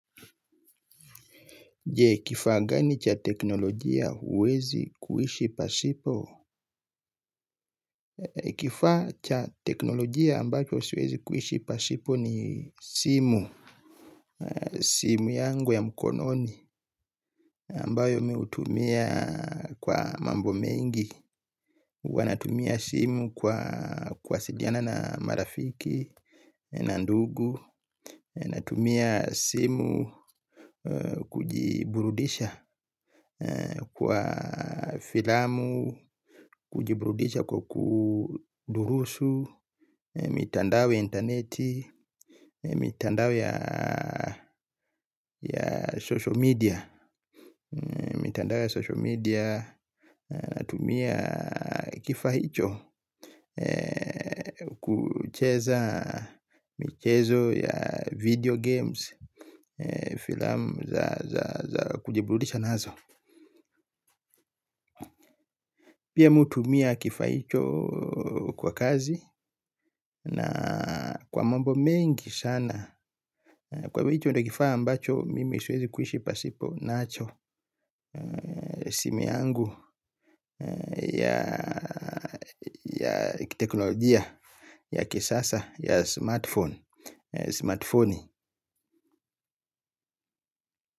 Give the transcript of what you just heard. Je kifa gani cha teknolojia uwezi kuhishi pasipo? Kifa cha teknolojia ambacho siwezi kuhishi pasipo ni simu simu yangu ya mkononi ambayo mimi hutumia kwa mambo mingi huwa natumia simu kwa kuwasiliana na marafiki na ndugu. Natumia simu kujiburudisha kwa filamu. Kujiburudisha kwa kudurusu mitandao ya interneti mitandao ya social media. Natumia kifa hicho kucheza michezo ya video games. Filamu za kujiburudisha nazo. Pia hutumia kifa hicho kwa kazi. Na kwa mambo mengi sana kwa hivo hicho ndio kifa ambacho mimi siwezi kuishi pasipo nacho simu yangu ya kiteknolojia ya kisasa, ya smart pnone, simati foni.